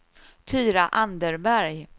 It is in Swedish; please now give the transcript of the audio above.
Tyra Anderberg